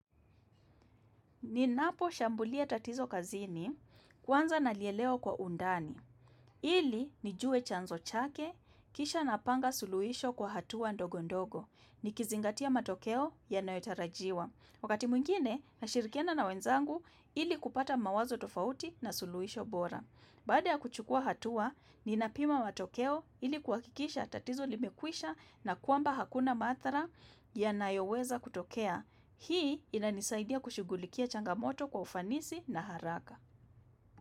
Ninapo shambulia tatizo kazini, kwanza nalielewa kwa undani. Ili, nijue chanzo chake, kisha napanga suluhisho kwa hatua ndogo ndogo. Nikizingatia matokeo yanayotarajiwa. Wakati mwingine, nashirikiana na wenzangu ili kupata mawazo tofauti na suluhisho bora. Baada ya kuchukua hatua, ninapima matokeo ili kuhakikisha tatizo limekwisha na kwamba hakuna madhara ya nayoweza kutokea. Hii inanisaidia kushughulikia changamoto kwa ufanisi na haraka.